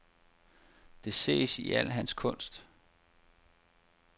Det ses i al hans kunst.